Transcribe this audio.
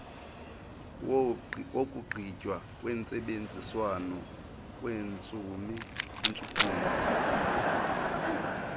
wokugqitywa kwentsebenziswano kwentshukumo